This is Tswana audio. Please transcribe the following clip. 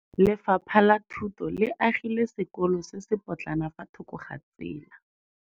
Lefapha la Thuto le agile sekôlô se se pôtlana fa thoko ga tsela.